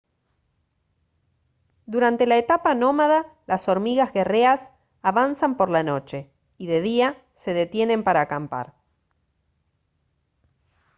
durante la etapa nómada las hormigas guerreas avanzan por la noche y de día se detienen para acampar